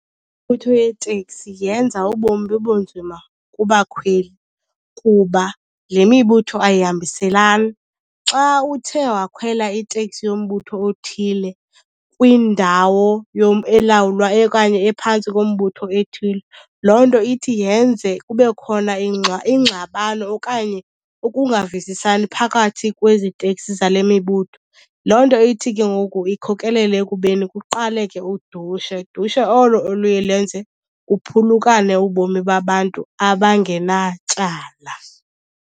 yeeteksi yenza ubomi bube nzima kubakhweli kuba le mibutho ayihambiselani. Xa uthe wakhwela iteksi yombutho othile kwindawo elawulwa okanye ephantsi kombutho ethile, loo nto ithi yenze kube khona ingxabano okanye ukungavisisani phakathi kwezi teksi zale mibutho. Loo nto ithi ke ngoku ikhokelele ekubeni kuqaleke udushe, dushe olo oluye lenze kuphulukane ubomi babantu abangenatyala.